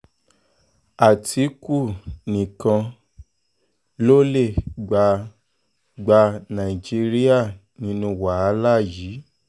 àtìkù nìkan ló lè gba gba nàìjíríà nínú wàhálà yìí